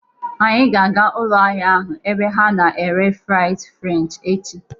Anyị ga-aga ụlọ ahịa ahụ ebe ha na-ere fries french echi